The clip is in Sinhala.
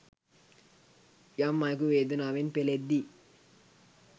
යම් අයෙකු වේදනාවෙන් පෙළෙද්දී